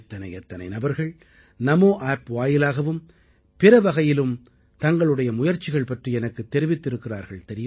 எத்தனை எத்தனை நபர்கள் NamoApp வாயிலாகவும் பிற வகைகளிலும் தங்களுடைய முயற்சிகள் பற்றி எனக்குத் தெரிவித்திருக்கிறார்கள்